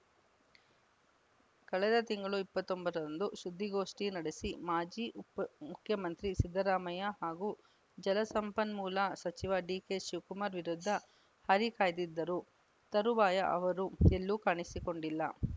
ಕಳೆದ ತಿಂಗಳು ಇಪ್ಪತ್ತ್ ಒಂಬತ್ತರಂದು ಸುದ್ದಿಗೋಷ್ಠಿ ನಡೆಸಿ ಮಾಜಿ ಮುಖ್ಯಮಂತ್ರಿ ಸಿದ್ದರಾಮಯ್ಯ ಹಾಗೂ ಜಲಸಂಪನ್ಮೂಲ ಸಚಿವ ಡಿಕೆಶಿವಕುಮಾರ್‌ ವಿರುದ್ಧ ಹರಿ ಹಾಯ್ದಿದ್ದರು ತರುವಾಯ ಅವರು ಎಲ್ಲೂ ಕಾಣಿಸಿಕೊಂಡಿಲ್ಲ